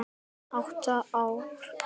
Átta ár.